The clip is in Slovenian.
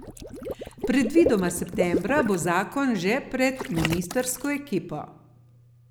Predvidoma septembra bo zakon že pred ministrsko ekipo.